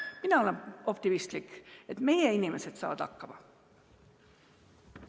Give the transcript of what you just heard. Mina olen optimistlik, et meie inimesed saavad hakkama.